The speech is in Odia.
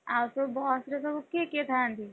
ଆଉ ସବୁ ବସ ରେ ସବୁ କିଏ କିଏ ଥାଆନ୍ତି?